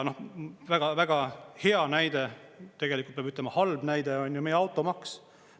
Väga hea näide, tegelikult peab ütlema halb näide, on meie automaks.